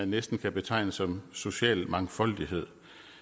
næsten kan betegne som social mangfoldighed